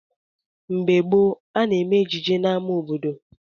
Mgbe gboo, a na-eme ejije n'ámá obodo.